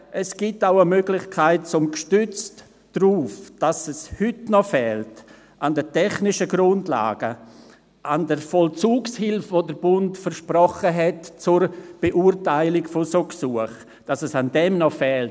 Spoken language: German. Es gibt auch eine Möglichkeit, um gestützt darauf, dass es heute an den technischen Grundlagen noch fehlt, an der Vollzugshilfe, die der Bund zur Beurteilung von solchen Gesuchen versprochen hat … dass es daran noch fehlt.